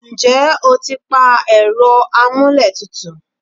ǹjẹ́ o ti pa ẹ̀rọ amúlé tutù?